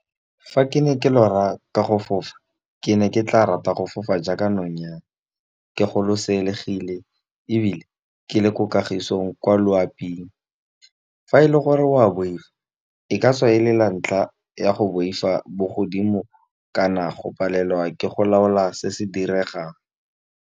Fa ke ne ke lora ka go fofa, ke ne ke tla rata go fofa jaaka nonyane ke golosegile ebile ke le ko kagisong kwa loaping. Fa e le gore wa boifa, e ka tswa e le la ntlha ya go boifa bogodimo kana go palelwa ke go laola se se diregang.